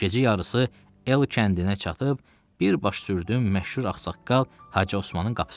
Gecə yarısı L kəndinə çatıb, bir baş sürdüm məşhur ağsaqqal Hacı Osmanın qapısına.